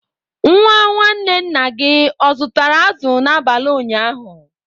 Nwa nwanne nna gị o zụtara azụ̀ n'abalị ụnyaahụ?